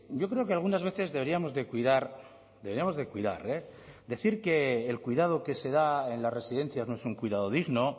yo creo que algunas veces deberíamos de que cuidar deberíamos de cuidar eh decir que el cuidado que se da en las residencias no es un cuidado digno